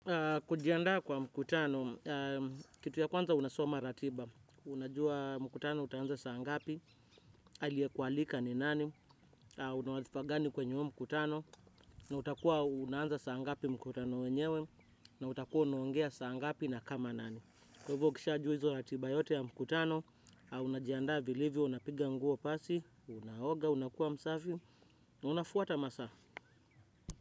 Kujiandaa kwa mkutano, kitu ya kwanza unasoma ratiba, unajua mkutano utaanza saa ngapi, aliyekualika ni nani, una wadhifa gani kwenye huu mkutano, na utakuwa unaanza saa ngapi mkutano wenyewe, na utakuwa unaongea saa ngapi na kama nani. Kwa hivyo ukishajua hizo ratiba yote ya mkutano, unajianda vilivyo, unapiga nguo pasi, unaoga, unakuwa msafi, unafuata masaa.